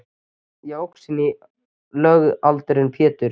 Ég óx inn í lögaldurinn Pétur.